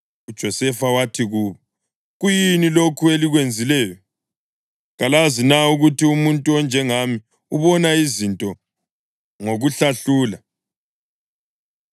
UJosefa wathi kubo, “Kuyini lokhu elikwenzileyo? Kalazi na ukuthi umuntu onjengami ubona izinto ngokuhlahlula?”